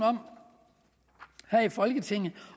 her i folketinget